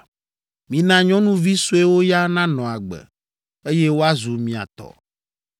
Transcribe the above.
Mina nyɔnuvi suewo ya nanɔ agbe, eye woazu mia tɔ.